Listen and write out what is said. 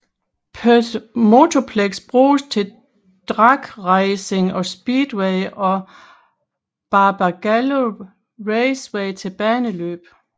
Perth Motorplex bruges til drag racing og speedway og Barbagallo Raceway til baneløb